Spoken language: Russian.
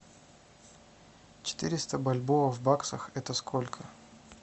четыреста бальбоа в баксах это сколько